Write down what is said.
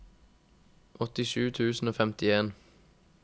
åttisju tusen og femtien